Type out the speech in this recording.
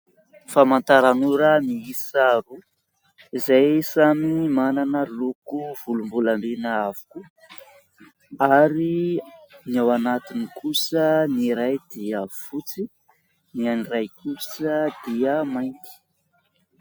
Famantaran'ora miisa roa, izay samy manana loko volombolamena avokoa. Ary ny ao anatiny kosa, ny iray dia fotsy, ny an'ny iray kosa dia mainty.